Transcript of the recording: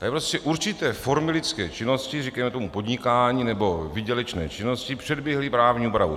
Tady prostě určité formy lidské činnosti, říkejme tomu podnikání nebo výdělečné činnosti, předběhly právní úpravu.